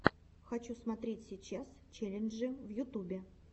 хочу смотреть сейчас челленджи в ютубе